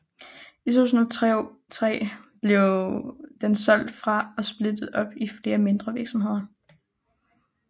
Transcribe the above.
I 2003 blev den solgt fra og splittet op i flere mindre virksomheder